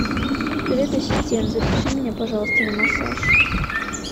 привет ассистент запиши меня пожалуйста на массаж